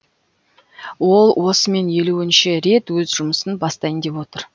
ол осымен елуінші рет өз жұмысын бастайын деп отыр